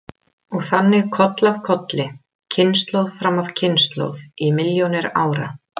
Og þannig koll af kolli, kynslóð fram af kynslóð í milljónir ára.